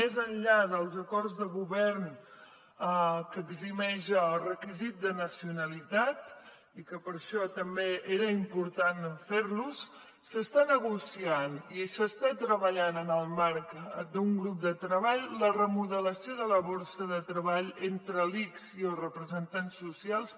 més enllà dels acords de govern que eximeix el requisit de nacionalitat i que per això també era important fer los s’està negociant i s’està treballant en el marc d’un grup de treball la remodelació de la borsa de treball entre l’ics i els representants socials